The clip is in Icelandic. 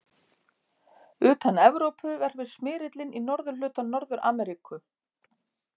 Utan Evrópu verpir smyrillinn í norðurhluta Norður-Ameríku.